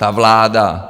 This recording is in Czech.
Ta vláda...